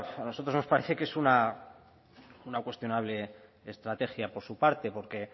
a nosotros nos parece que es una cuestionable estrategia por su parte porque